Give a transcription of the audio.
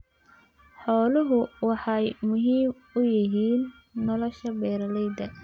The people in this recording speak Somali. Xooluhu waxay muhiim u yihiin nolosha beeralayda.